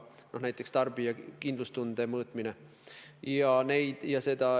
Selline on näiteks tarbija kindlustunde mõõtmine.